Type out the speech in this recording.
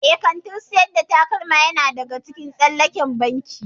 Eh, kantin sayar da takalma yana daga tsallaken banki.